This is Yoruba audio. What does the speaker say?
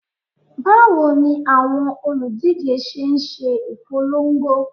Bawo ni awọn oludije ṣe n ṣe ipolongo?